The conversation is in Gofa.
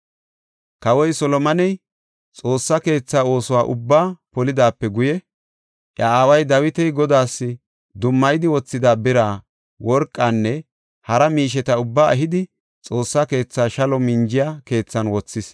Kawoy Solomoney Xoossa keetha oosuwa ubbaa polidaape guye, iya aaway Dawiti Godaas dummayidi wothida bira, worqanne hara miisheta ubbaa ehidi, Xoossa keetha shalo minjiya keethan wothis.